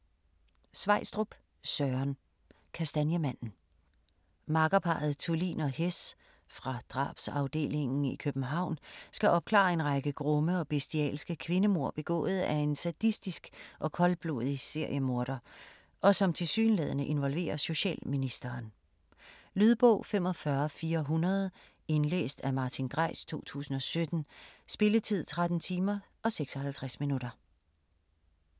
Sveistrup, Søren: Kastanjemanden Makkerparret Thulin og Hess fra drabsafdelingen i København skal opklare en række grumme og bestialske kvindemord begået af en sadistisk og koldblodig seriemorder og som tilsyneladende involverer socialministeren. Lydbog 45400 Indlæst af Martin Greis, 2017. Spilletid: 13 timer, 56 minutter.